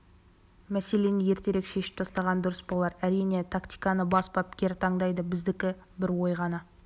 мәселені ертерек шешіп тастаған дұрыс болар әрине тактиканы бас бапкер таңдайды біздікі бір ой ғана